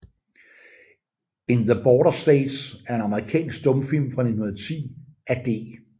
In the Border States er en amerikansk stumfilm fra 1910 af D